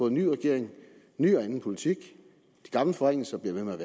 en ny regering ny og anden politik de gamle forringelser bliver ved med at